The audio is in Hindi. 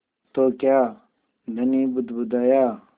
तो क्या धनी बुदबुदाया